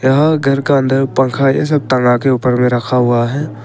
और घर का अंदर पंखा यह सब टंगा के ऊपर में रखा हुआ है।